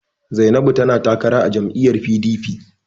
Zainabu tana takara a jam'lyyar PDP.